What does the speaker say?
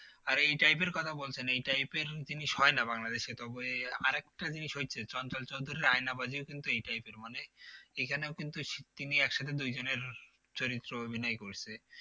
আর এই type এর কথা বলছি না এই type এর জিনিস হয়না বাংলাদেশে তবে আরেকটা জিনিস হয়েছে চঞ্চল চঞ্চল আয়নাবাজি ও কিন্তু এই type এর মানে এইখানেও কিন্তু তিনি একসাথে দুই জনের চরিত্র অভিনয় করছে